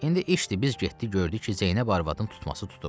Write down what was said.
İndi işdir, biz getdik gördük ki, Zeynəb arvadın tutması tutub.